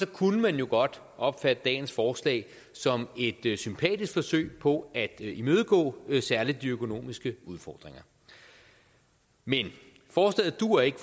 kunne man jo godt opfatte dagens forslag som et sympatisk forsøg på at imødegå særlig de økonomiske udfordringer men forslaget duer ikke